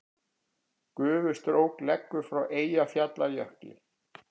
Gufustrók leggur frá Eyjafjallajökli